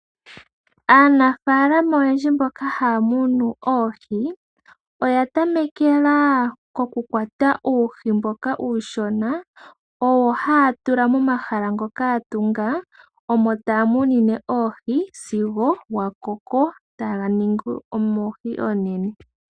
Aanafalama oyendji mboka haa munu oohi oya tamekela okukwata uuhi mboka uushona